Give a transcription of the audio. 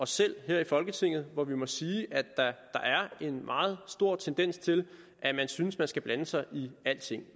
selv her i folketinget hvor vi må sige at der er en meget stor tendens til at man synes at man skal blande sig i alting